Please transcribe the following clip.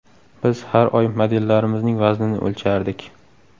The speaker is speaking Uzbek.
Biz har oy modellarimizning vaznini o‘lchardik.